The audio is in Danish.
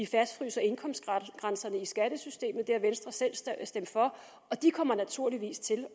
fastfryser indkomstgrænserne i skattesystemet det har venstre selv stemt for og de kommer naturligvis til